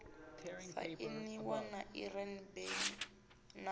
sainiwa na iran benin na